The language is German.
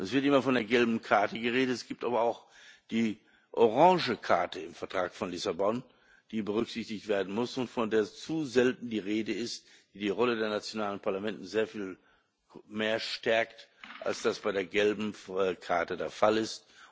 Es wird immer von der gelben Karte geredet, es gibt aber auch die orange Karte im Vertrag von Lissabon, die berücksichtigt werden muss und von der zu selten die Rede ist und die die Rolle der nationalen Parlamente sehr viel mehr stärkt, als das bei der gelben Karte der Fall ist.